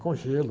Com gelo.